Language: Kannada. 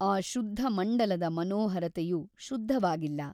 ಆ ಶುದ್ಧ ಮಂಡಲದ ಮನೋಹರತೆಯು ಶುದ್ಧವಾಗಿಲ್ಲ.